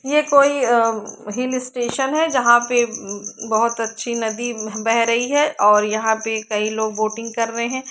ये कोई अ हिल स्टेशन है जहा पर ब- ब- बोहोत अच्छी नदी बेह रही है और यहाँ पर कई लोग बोटिंग कर रहे है।